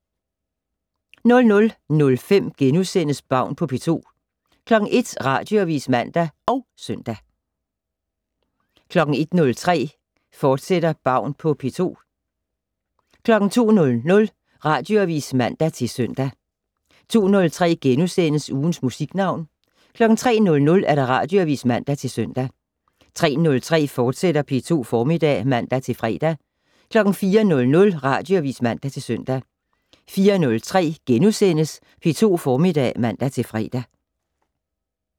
00:05: Baun på P2 * 01:00: Radioavis (man og søn) 01:03: Baun på P2, fortsat 02:00: Radioavis (man-søn) 02:03: Ugens Musiknavn * 03:00: Radioavis (man-søn) 03:03: P2 Formiddag *(man-fre) 04:00: Radioavis (man-søn) 04:03: P2 Formiddag *(man-fre)